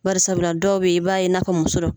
Barisabula dɔw bɛ yen, i b'a ye n'a ka musɔrɔ.